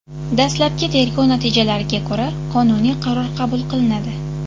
Dastlabki tergov natijalariga ko‘ra, qonuniy qaror qabul qilinadi.